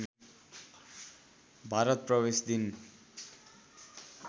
भारत प्रवेश दिन